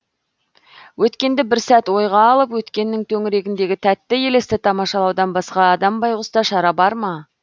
өткенді бір сәт ойға алып өткеннің төңірегіндегі тәтті елесті тамашалаудан басқа адам байғұста шара барма